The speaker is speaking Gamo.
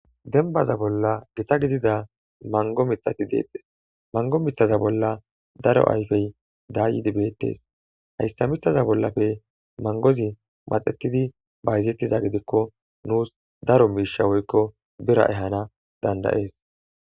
dembaza bolla gita gidida mango mitati deettes mango mithaza bolla daro ayfey daayidi beettes hayssa mithaza bollafe mangozi maxetidi bayzettiza gidikko nuus daro miisha woykko bira ehana dandayees